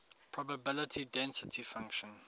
probability density function